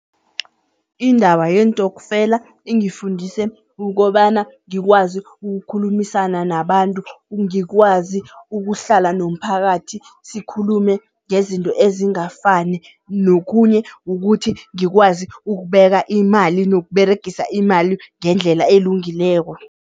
Indaba yeentokfela ingifundise kukobana ngikwazi ukukhulumisana nabantu, ngikwazi ukuhlala nomphakathi sikhulume ngezinto ezingafani nokhunye kukuthi ngikwazi ukubeka imali nokUberegisa imali ngendlela elungileko.